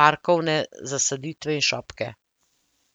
parkovne zasaditve in šopke.